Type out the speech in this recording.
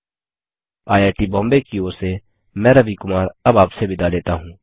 IIT Bombay की ओर से मैं रवि कुमार अब आपसे विदा लेता हूँ